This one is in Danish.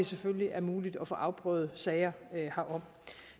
selvfølgelig er muligt at få afprøvet sager herom